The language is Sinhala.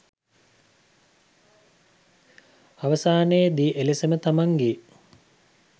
අවසානයේදී එලෙසම තමන්ගේ